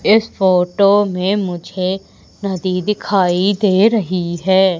इस फोटो में मुझे नदी दिखाई दे रही है।